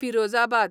Firozabad